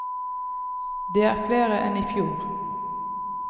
Det er flere enn i fjor.